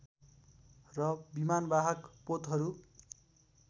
र विमानवाहक पोतहरू